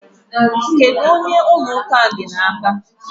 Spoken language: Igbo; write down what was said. Kedu ka ụlọ ụka a dị n'aka?